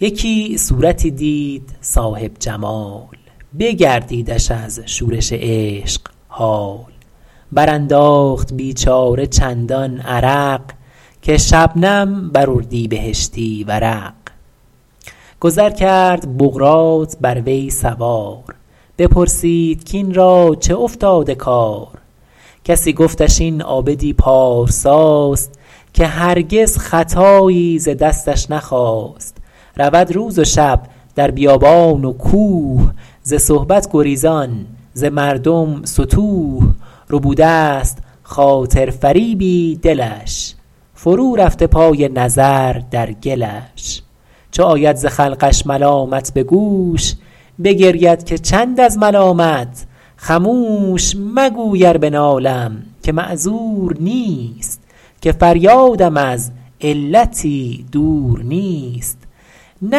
یکی صورتی دید صاحب جمال بگردیدش از شورش عشق حال بر انداخت بیچاره چندان عرق که شبنم بر اردیبهشتی ورق گذر کرد بقراط بر وی سوار بپرسید کاین را چه افتاده کار کسی گفتش این عابد ی پارسا ست که هرگز خطایی ز دستش نخاست رود روز و شب در بیابان و کوه ز صحبت گریزان ز مردم ستوه ربوده ست خاطر فریبی دلش فرو رفته پای نظر در گلش چو آید ز خلقش ملامت به گوش بگرید که چند از ملامت خموش مگوی ار بنالم که معذور نیست که فریاد م از علتی دور نیست نه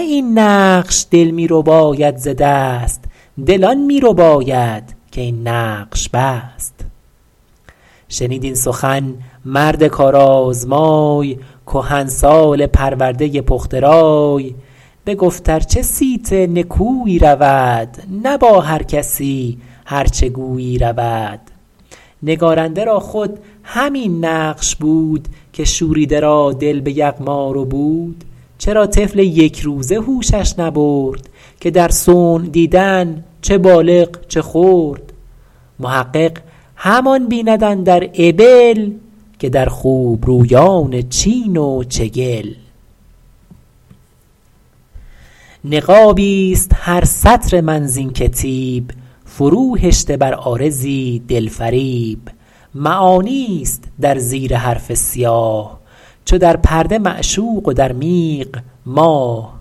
این نقش دل می رباید ز دست دل آن می رباید که این نقش بست شنید این سخن مرد کار آزمای کهنسال پرورده پخته رای بگفت ار چه صیت نکویی رود نه با هر کسی هر چه گویی رود نگارنده را خود همین نقش بود که شوریده را دل به یغما ربود چرا طفل یک روزه هوشش نبرد که در صنع دیدن چه بالغ چه خرد محقق همان بیند اندر ابل که در خوبرویان چین و چگل نقابی است هر سطر من زین کتیب فرو هشته بر عارضی دل فریب معانی است در زیر حرف سیاه چو در پرده معشوق و در میغ ماه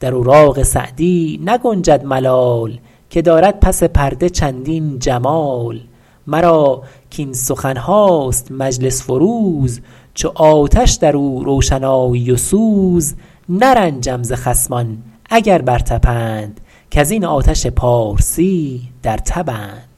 در اوراق سعدی نگنجد ملال که دارد پس پرده چندین جمال مرا کاین سخن هاست مجلس فروز چو آتش در او روشنایی و سوز نرنجم ز خصمان اگر بر تپند کز این آتش پارسی در تبند